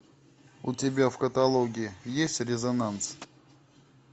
у тебя в каталоге есть резонанс